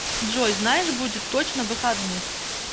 джой знаешь будет точно выходных